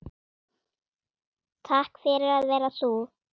Takk fyrir að vera þú.